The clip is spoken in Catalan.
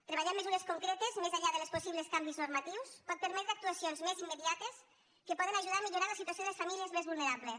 treballar en mesures concretes més enllà dels possibles canvis normatius pot permetre actuacions més immediates que poden ajudar a millorar la situació de les famílies més vulnerables